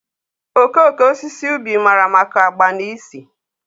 okooko osisi ubi mara maka agba na ísì.